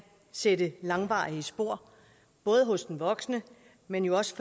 sætte langvarige spor både hos den voksne men jo også